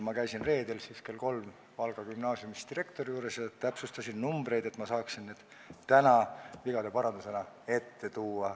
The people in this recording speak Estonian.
Ma käisin reedel kell kolm Valga Gümnaasiumi direktori juures ja täpsustasin numbreid, et ma saaksin need täna vigade parandusena teie ette tuua.